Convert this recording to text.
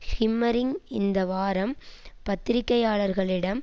ஹிம்மறிங் இந்த வாரம் பத்திரிகையாளர்களிடம்